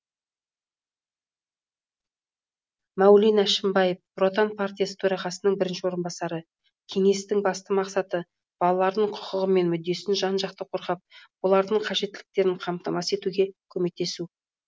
мәулен әшімбаев нұр отан партиясы төрағасының бірінші орынбасары кеңестің басты мақсаты балалардың құқығы мен мүддесін жан жақты қорғап олардың қажеттіліктерін қамтамасыз етуге көмектесу